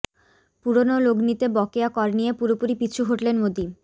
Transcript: পুরনো লগ্নিতে বকেয়া কর নিয়ে পুরোপুরি পিছু হটলেন মোদী